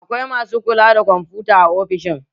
Akwai masu kula da kwamfuta a ofishin